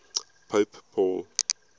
pope paul